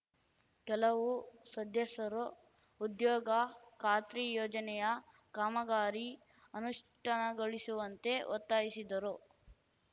ಕೆಲವು ಸದಸ್ಯರು ಉದ್ಯೋಗ ಖಾತ್ರಿ ಯೋಜನೆಯ ಕಾಮಗಾರಿ ಅನುಷ್ಠಾನಗೊಳಿಸುವಂತೆ ಒತ್ತಾಯಿಸಿದ್ದರು